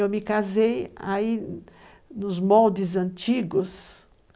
Eu me casei aí nos moldes antigos.